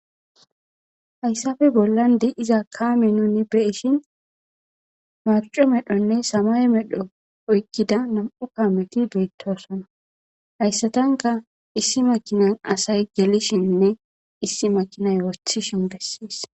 Haysappe bolla de'iza kame nuni beyishin marc'o medhonne samaye medho oykida nam'u kameti bettosona haysatanka issi makinani asay gelishinne issi makinay wothishin beses.